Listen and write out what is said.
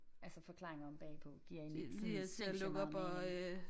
Altså forklaringer omme bagpå giver egentlig ikke sådan sindssygt meget mening